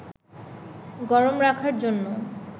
গরম রাখার জন্য